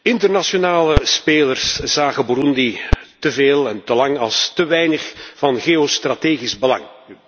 Internationale spelers zagen Boeroendi te veel en te lang als te weinig van geostrategisch belang.